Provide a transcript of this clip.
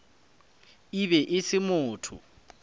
e be e se motho